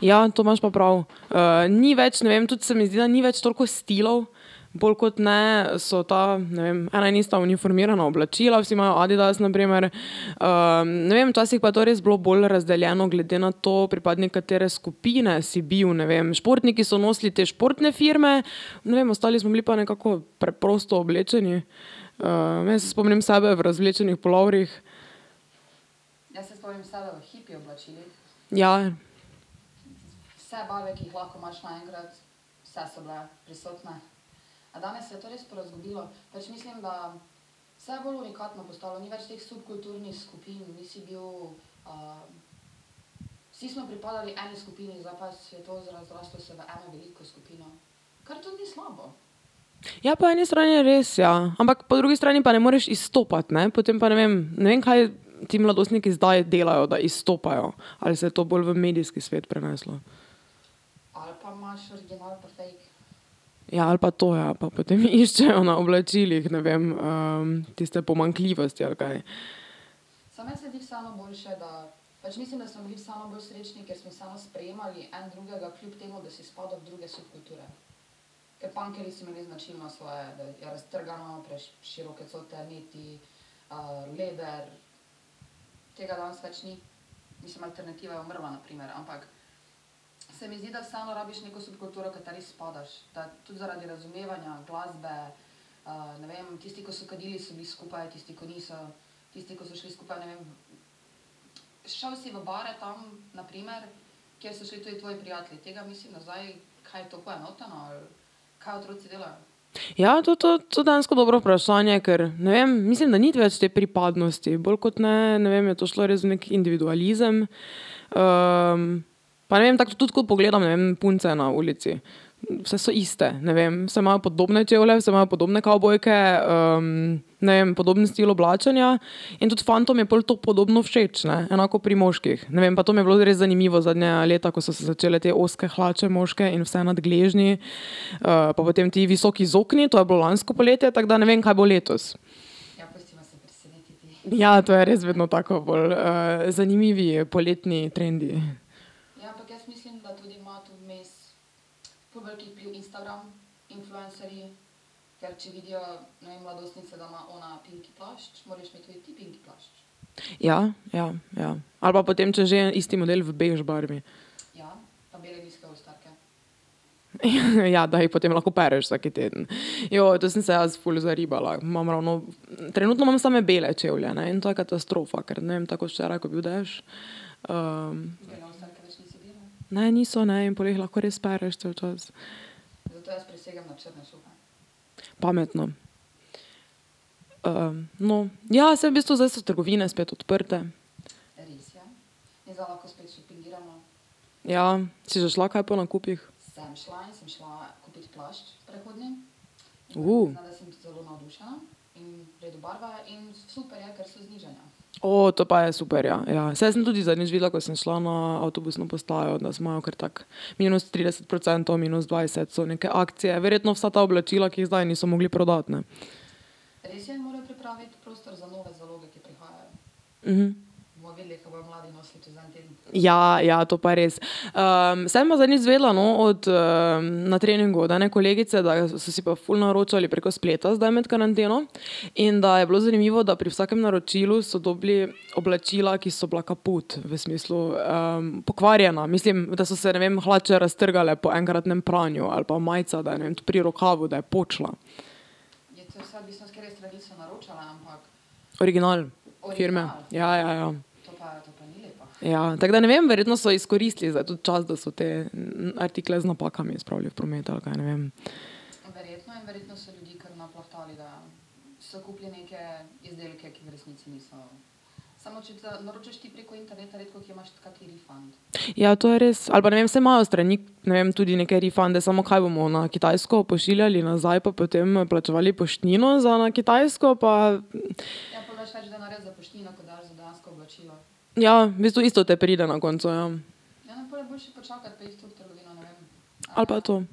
Ja, to imaš pa prav, ni več, ne vem, tudi se mi zdi, da ni več toliko stilov, bolj kot ne so tam, ne vem, ena in ista informirana oblačila, vsi imajo Adidas, na primer, ne vem, včasih pa je to res bilo bolj razdeljeno glede na to, pripadnik katere skupine si bil, ne vem, športniki so nosili te športne firme, ne vem, ostali smo bili pa nekako preprosto oblečeni. jaz se spomnim sebe v razvlečenih puloverjih. Ja. Ja, po eni strani je res, ja, ampak po drugi strani pa ne moreš izstopati, ne, potem pa, ne vem, ne vem, kaj ti mladostniki zdaj delajo, da izstopajo, ali se je to bolj v medijski svet preneslo. Ja, ali pa to, ja, pa potem iščejo na oblačilih, ne vem, tiste pomanjkljivosti ali kaj. Ja, to, to, to dejansko dobro vprašanje, ker ne vem, mislim, da ni več te pripadnosti, bolj kot ne, ne vem, je to šlo res v neki individualizem, pa ne vem, tako tudi tako, ko pogledam, ne vem, punce na ulici, vse so iste, ne vem, vse imajo podobne čevlje, vse imajo podobne kavbojke, ne vem, podoben stil oblačenja, in tudi fantom je pol to podobno všeč, ne, enako pri moških, ne vem, pa to mi je bilo res zanimivo zadnja leta, ko so se začele te ozke hlače moške in vse nad gležnji, pa potem ti visoki zokni, to je bilo lansko poletje, tako da ne vem, kaj bo letos. Ja, to je res vedno tako bolj, zanimivi poletni trendi. Ja, ja, ja, ali pa potem če že, isti model v bež barvi. Ja, ja, da jih potem lahko opereš vsak teden, to sem se jaz ful zaribala, imam ravno, trenutno imam same bele čevlje, ne, in to je katastrofa, kar ne vem, ker tako kot včeraj, ko je bil dež, ... Ne, niso, ne, in pol jih lahko res pereš cel čas. Pametno. no, ja, saj v bistvu zdaj so trgovine spet odprte. Ja, si že šla kaj po nakupih? to pa je super, ja, ja, saj jaz sem tudi zadnjič videla, ko sem šla na avtobusno postajo, da imajo kar tako, minus trideset procentov, minus dvajset so neke akcije, verjetno vsa ta oblačila, ki jih zdaj niso mogli prodati, ne. Ja, ja, to pa je res, sem pa zadnjič izvedela, no, od, na treningu od ene kolegice, da je, so si pa ful naročali preko spleta zdaj med karanteno in da je bilo zanimivo, da pri vsakem naročilu so dobili oblačila, ki so bila kaput, v smislu pokvarjena, mislim, da so se, ne vem, hlače raztrgale po enkratnem pranju ali pa majica, da je, ne vem, pri rokavu, da je počila. Original firme, ja, ja, ja. Ja, tako da ne vem, verjetno so izkoristili zdaj to čas, da so te artikle z napakami spravili v promet ali kaj, ne vem. Ja, to je res, ali pa, ne vem, saj imajo strani, ne vem, tudi neke refunde, samo kaj bomo na Kitajsko pošiljali nazaj pa potem plačevali poštnino za na Kitajsko pa ... Ja, v bistvu isto te pride na koncu, ja. Ali pa to. Ja.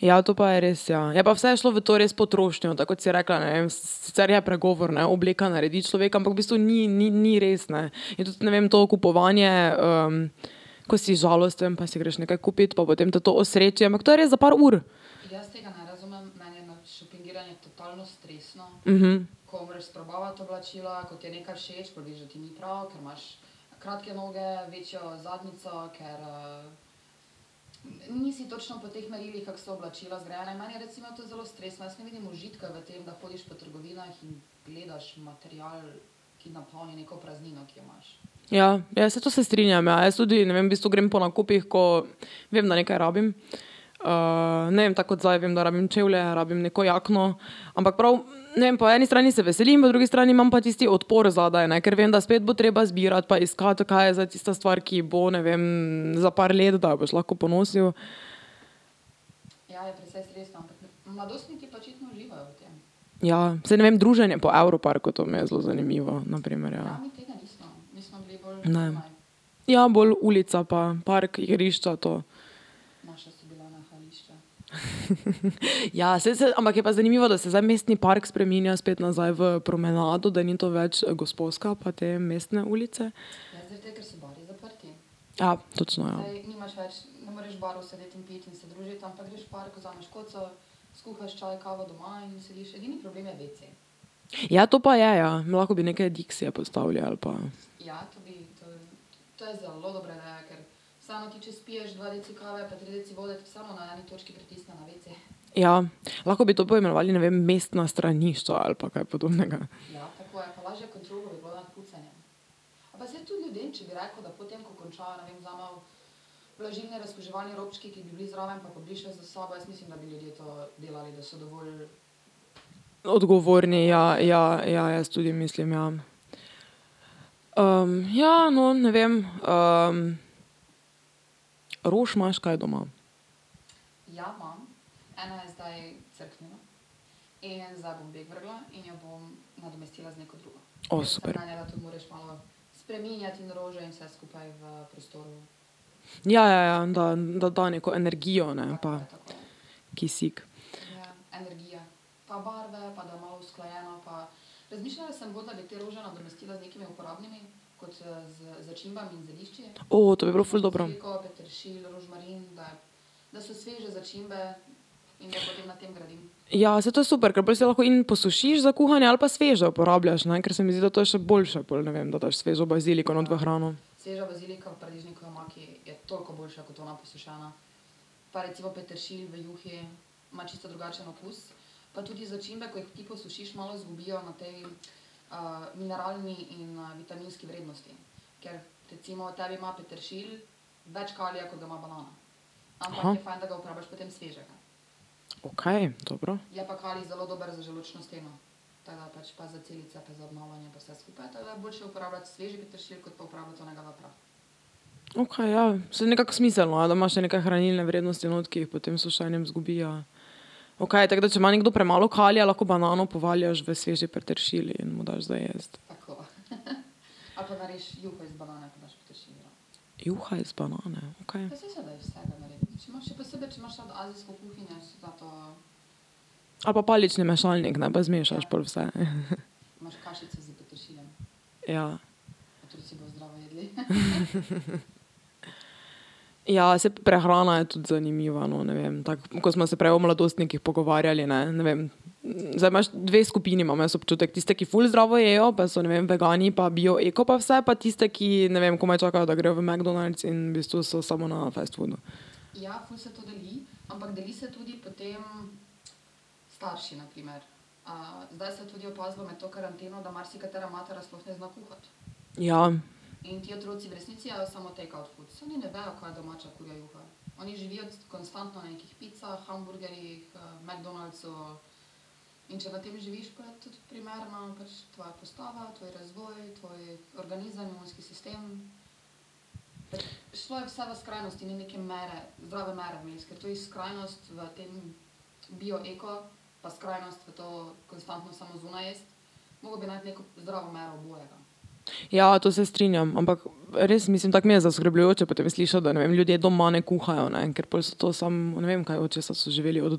Ja, to pa je res, ja, je pa vse šlo v to res, potrošnjo, da kot si rekla, ne vem, sicer je pregovor, ne, obleka naredi človeka, ampak v bistvu ni, ni, ni res, ne, je tudi, ne vem, to kupovanje, ko si žalosten pa si greš nekako kupit, pa potem te to osreči, ampak to je res za par ur. Ja, ja, saj to se strinjam, ja, jaz tudi, ne vem, v bistvu grem po nakupih, ko vem, da nekaj rabim, ne vem, tako kot zdaj, vem, da rabim čevlje, rabim neko jakno, ampak prav, ne vem, po eni strani se veselim, po drugi strani imam pa tisti odpor zadaj, ne, ker vem, da spet bo treba zbirati pa iskati, kaj je zdaj tista stvar, ki bo, ne vem, za par let, da jo boš lahko ponosil. Ja, saj ne vem, druženje po Evroparku, to mi je zelo zanimivo, na primer, ja. Ne. Ja, bolj ulica pa park, igrišča, to. Ja, saj ampak je pa zanimivo, da se zdaj Mestni park spreminja spet nazaj v promenado, da ni to več Gosposka pa te mestne ulice. Ja, točno, ja. Ja, to pa je, ja, lahko bi neke dixije postavili ali pa ... Ja, lahko bi to poimenovali, ne vem, mestna stranišča ali pa kaj podobnega. Odgovorni, ja, ja, ja, jaz tudi mislim, ja. ja, no, ne vem, rož imaš kaj doma? super. Ja, ja, ja, da, da da neko energijo, ne, pa kisik. to bi bilo ful dobro. Ja, saj to je super, ker pol si lahko in posušiš za kuhanje ali pa sveže uporabljaš, ne, ker se mi zdi, da to je še boljše pol, ne vem, da daš svežo baziliko not v hrano. Okej, dobro. Okej, ja, saj nekako smiselno, da imaš še neke hranilne vrednosti not, ki potem s sušenjem zgubijo. Okej, tako da če ima nekdo premalo kalija, lahko banano povaljaš v svež peteršilj in mu daš za jesti. Juha iz banane, kaj? Ali pa palični mešalnik, ne, pa zmešaš pol vse. Ja. Ja, saj prehrana je tudi zanimiva, no, ne vem, tako, ko sva se prej o mladostnikih pogovarjali, ne, ne vem, zdaj imaš dve skupini, imam jaz občutek, tiste, ki ful zdravo jejo pa so, ne vem, vegani pa bio, eko pa vse, pa tiste, ki, ne vem, komaj čakajo, da grejo v McDonald's in v bistvu so samo na fast foodu. Ja. Ja, to se strinjam, ampak res mislim, tako mi je zaskrbljujoče potem slišati, da, ne vem, ljudje doma ne kuhajo, ne, ker pol so to samo, ne vem kaj, od česa so živeli, od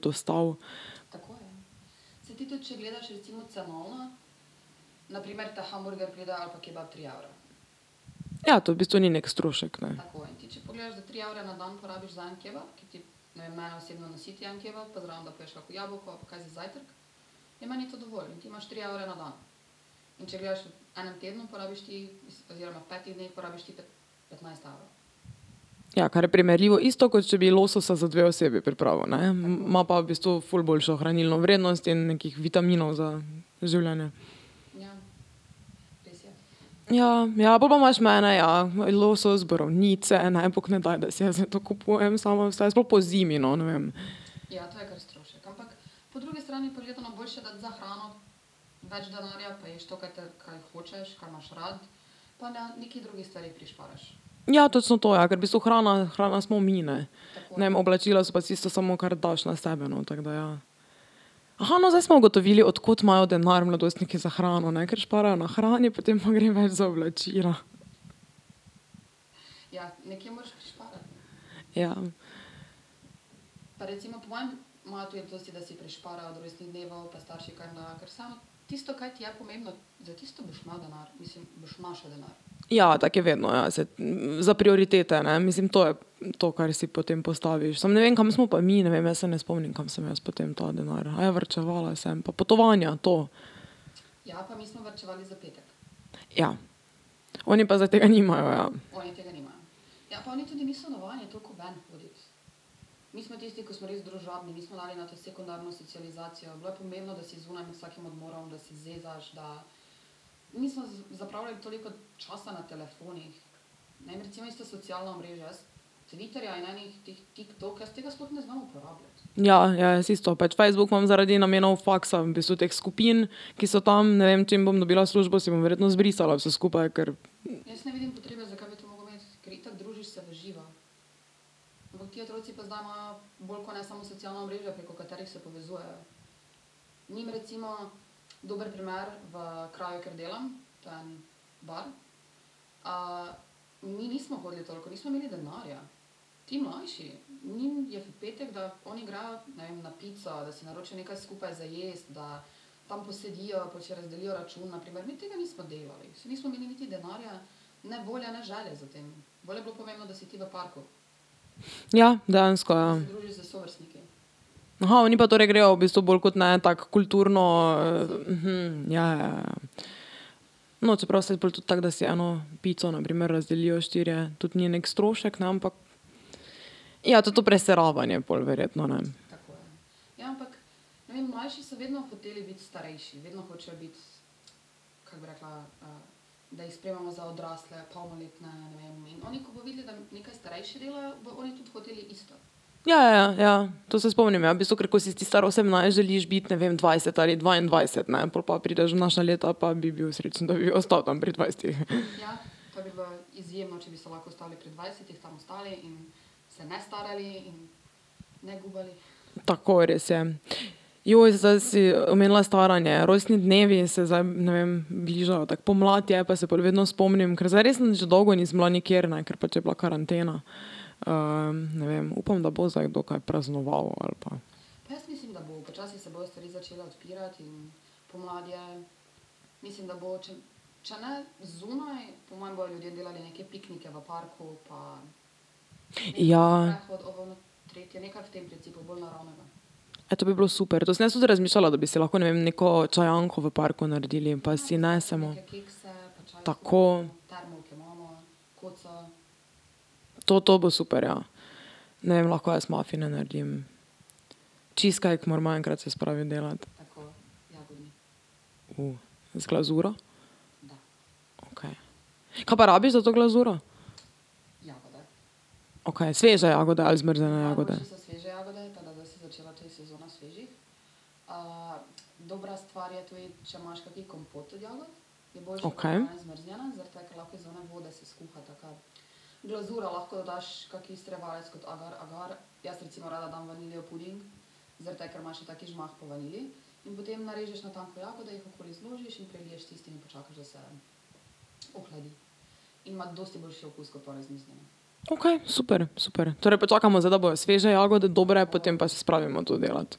dostav? Ja, to v bistvu ni neki strošek, ne. Ja, kar je primerljivo, isto, kot če bi lososa za dve osebi pripravil, ne, ima pa v bistvu ful boljšo hranilno vrednost in nekih vitaminov za življenje. Ja, ja, po pa imaš mene, ja, losos, borovnice, ne, bog ne daj, da si jaz zdaj to kupujem sama vse, sploh pozimi no, ne vem. Ja, točno to, ja, ker v bistvu hrana, hrana smo mi, ne. Ne vem, oblačila so pa tisto samo, kar daš na sebe, no, tako da ja. no, zdaj smo ugotovili, od kod imajo denar mladostniki za hrano, ne, ker šparajo na hrani, potem pa gre več za oblačila. Ja. Ja, tako je vedno, ja, za prioritete, ne, mislim, to je, to, kar si potem postaviš, samo ne vem, kam smo pa mi, ne vem, jaz se ne spomnim, kam sem jaz potem ta denar, varčevala sem pa potovanja, to. Ja. Oni pa zdaj tega nimajo, ja. Ja, ja, jaz isto, pač Facebook imam zaradi namenov faksa, v bistvu teh skupin, ki so tam, ne vem, čim bom dobila službo, si bom verjetno zbrisala vse skupaj, ker ... Ja, dejansko, ja. oni pa torej grejo, v bistvu bolj kot ne tako kulturno, ja, ja, ja. No, čeprav saj pol tudi tako, da si eno pico, na primer, razdelijo štirje, tudi ni neki strošek, ne, ampak ... Ja, tudi to preseravanje pol verjetno, ne. Ja, ja, ja, ja, to se spomnim, ja, v bistvu, ker ko si ti star osemnajst, želiš biti, ne vem, dvajset ali dvaindvajset, ne, pol pa prideš v naša leta, pa bi bil srečen, da bi ostal tam pri dvajsetih. Tako, res je. zdaj si omenila staranje, rojstni dnevi se zdaj, ne vem, bližajo, tako pomlad je, pa se pol vedno spomnim, ker zdaj res nič dolgo nisem bila nikjer, ne, ker pač je bila karantena. ne vem, upam, da bo zdaj kaj kdo praznoval ali pa ... Ja. Ja, to bi bilo super, to sem jaz tudi razmišljala, da bi si lahko, ne vem, neko čajanko v parku naredili pa si nesemo ... Tako. To, to bo super, ja. Ne vem, lahko jaz mafine naredim. Cheesecake moramo enkrat se spraviti delati. Z glazuro? Kaj pa rabiš za to glazuro? Okej, sveže jagode ali zmrznjene jagode? Okej. Okej, super, super, torej počakamo zdaj, da bojo sveže jagode dobre, potem pa se spravimo to delati.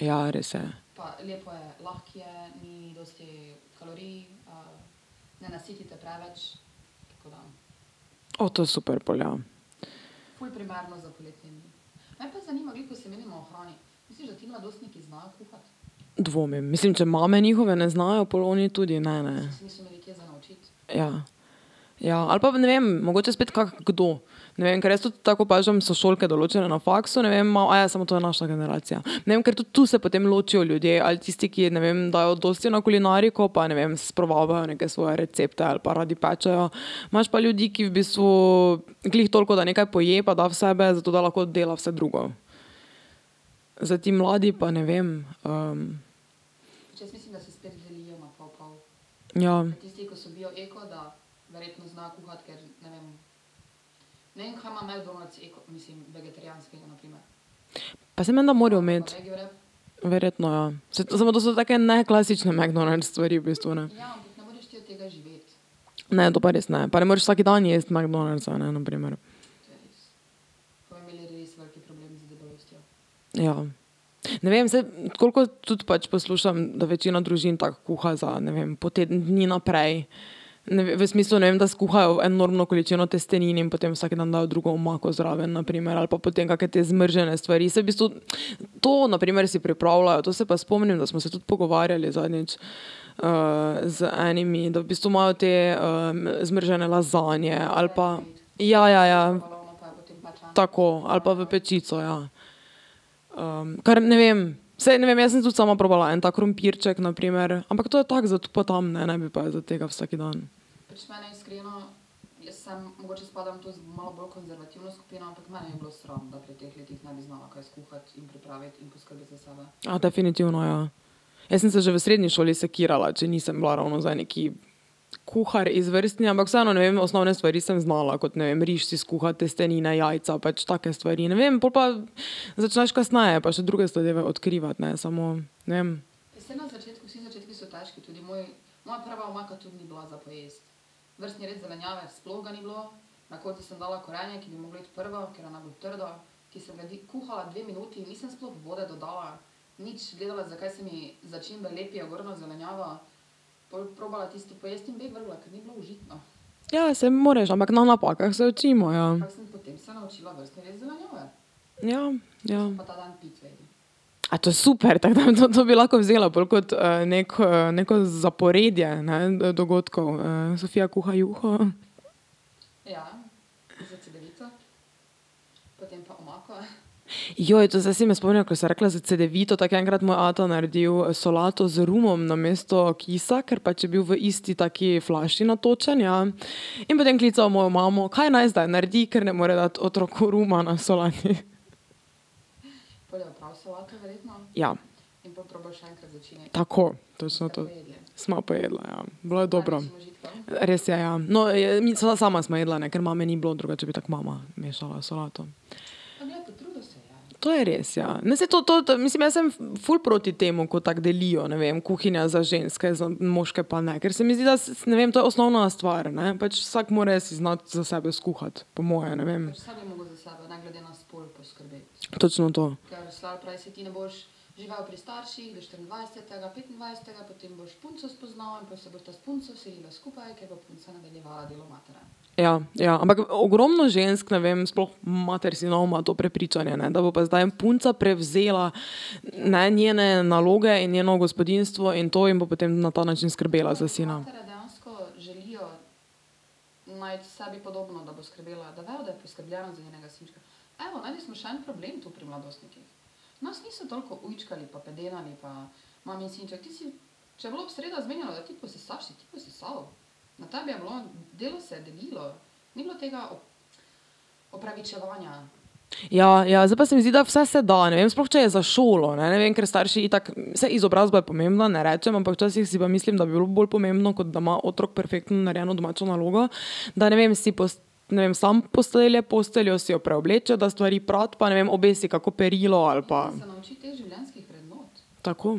Ja, res je. to je super pol, ja. Dvomim, mislim, če mame njihove ne znajo, pol oni tudi ne, ne. Ja. Ja, ali pa ne vem, mogoče spet kak kdo. Ne vem, ker jaz tudi tako opažam sošolke določene na faksu, ne vem, ma, samo to je naša generacija. Ne vem, ker tudi tu se potem ločijo ljudje, ali tisti, ki, ne vem, dajo dosti na kulinariko pa, ne vem, sprobavajo neke svoje recepte ali pa radi pečejo, imaš pa ljudi, ki v bistvu glih toliko, da nekaj poje pa da v sebe, zato da lahko dela vse drugo. Zdaj ti mladi pa, ne vem, ... Ja. Pa saj menda morajo imeti. Verjetno, ja, saj to, to so pa take neklasične McDonald's stvari, v bistvu, ne. Ne, to pa res ne, pa ne moreš vsak dan jesti McDonald'sa, ne, na primer. Ja. Ne vem, zdaj, tako kot tudi pač poslušam, da večina družin tako kuha za, ne vem, po teden dni naprej. v smislu, ne vem, da skuhajo enormno količino testenin in potem vsak dan dajo drugo omako zraven, na primer, ali pa potem kake te zmrznjene stvari, saj v bistvu, to, na primer, si pripravljajo, to se pa spomnim, da smo se tudi pogovarjali zadnjič z enimi, da v bistvu imajo te zmrznjene lazanje ali pa ... Ja, ja, ja. Tako, ali pa v pečico, ja. kar, ne vem, saj, ne vem, jaz sem tudi sama probala en tak krompirček, na primer, ampak to je tako za tu pa tam, ne, ne bi pa zdaj tega vsak dan. definitivno ja. Jaz sem se že v srednji šoli sekirala, če nisem bila ravno zdaj nekaj kuhar izvrstni, ampak vseeno, ne vem, osnovne stvari sem znala, kot, ne vem, riž si skuhati, testenine, jajca, pač take stvari, ne vem, pol pa začneš kasneje pač druge zadeve odkrivati, ne, samo, ne vem ... Ja, saj moraš, ampak na napakah se učimo, ja. Ja, ja. A, to super, tako da to, to bi lahko vzela pol kot neko zaporedje, ne, dogodkov, Sofija kuha juho ... to zdaj si me spomnila, ko si rekla za cedevito, tako enkrat je moj ata naredil solato z rumom namesto kisa, ker pač je bil v isti taki flaši natočen, ja, in potem klical mojo imamo, kaj naj zdaj naredi, ker ne mora dati otroku ruma na solati. Ja. Tako, točno to. Sva pojedla, ja, bilo je dobro. Res je, ja. No, nisva, sama sva jedla, ne, ker mame ni bilo, drugače bi tako mama mešala solato. To je res, ja, ne, saj to, to, mislim, jaz sem ful proti temu, ko tako delijo, ne vem, kuhinja za ženske, za moške pa ne, ker se mi, da ne vem, to osnovna stvar, ne, pač vsak mora si znati za sebe skuhati, po moje, ne vem. Točno to. Ja, ja, ampak ogromno žensk, ne vem, sploh, mater sinov, ima to prepričanje, ne, da bo pa zdaj punca prevzela, ne, njene naloge in njeno gospodinjstvo in to in bo potem na ta način skrbela za sina. Ja, ja, zdaj pa se mi zdi, da vse se da, ne vem, sploh če je za šolo, ne, ne vem, ker starši itak, saj izobrazba je pomembna, ne rečem, ampak včasih si pa mislim, da bi bilo bolj pomembno, kot da ima otrok perfektno narejeno domačo nalogo, da, ne vem, si ne vem, sam postelje posteljo, si jo preobleče, da stvari prati pa ne vem, obesi kako perilo ali pa ... Tako.